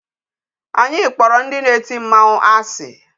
Anyi kpọrọ ndị na-eti mmanwụ asị.